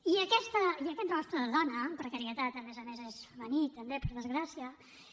i aquest rostre de dona precarietat a més a més és femení també per desgràcia